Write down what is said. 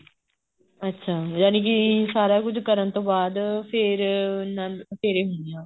ਅੱਛਾ ਜਾਨੀਕੀ ਸਾਰਾ ਕੁੱਝ ਕਰਨ ਤੋਂ ਬਾਅਦ ਫ਼ੇਰ ਆਨੰਦ ਫੇਰੇ ਹੁੰਦੇ ਆ